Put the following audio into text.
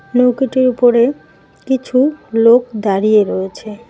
নৌকোটির উপরে কিছু লোক দাঁড়িয়ে রয়েছে।